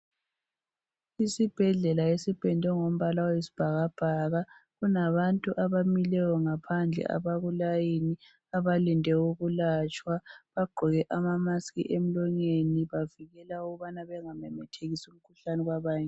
Isibhedlela esipendwe ngombala wesibhakabhaka kulabantu abamileyo ngaphandle abakulayini abalinde ukulatshwa. Bagqoke ama mask emlonyeni bavikela ukubana bengamemethekisi umkhuhlane kwabanye.